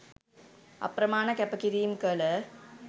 අප්‍රමාණ කැප කිරීම් කළ